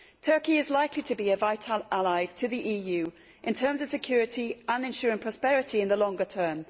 Turkey is likely to be a vital ally to the EU in terms of security and ensuring prosperity in the longer term.